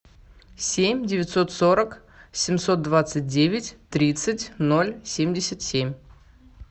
семь девятьсот сорок семьсот двадцать девять тридцать ноль семьдесят семь